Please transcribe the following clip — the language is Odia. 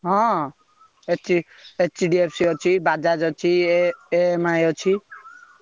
ହଁ ଏଚ HDFC ଅଛି, Bajaj ଅଛି, ଏ EMI ଅଛି।